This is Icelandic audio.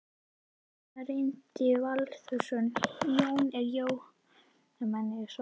Gunnar Reynir Valþórsson: Jói, er jólastemmning á svæðinu þarna?